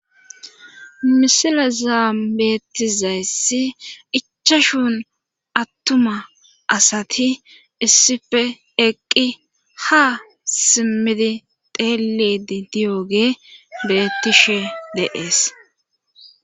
misilaza beettizayssi ichashun attuma asati issife eqqi ha simmidi teelidi diyooge bettishe deees